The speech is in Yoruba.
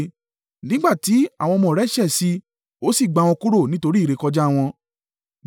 Nígbà tí àwọn ọmọ rẹ̀ ṣẹ̀ sí i, ó sì gbá wọn kúrò nítorí ìrékọjá wọn.